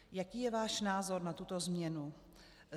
Jaký je váš názor na tuto změnu?